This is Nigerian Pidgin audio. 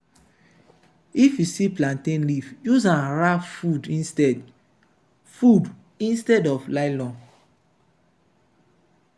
if you see plantain leaf use am wrap food instead food instead of nylon.